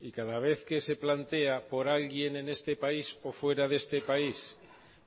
y cada vez que se plantea por alguien en este país o fuera de este país